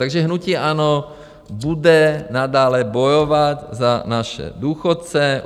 Takže hnutí ANO bude nadále bojovat za naše důchodce.